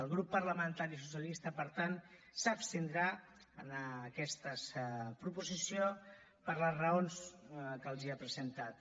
el grup parlamentari socialista per tant s’abstindrà en aquesta proposició per les raons que els he presentat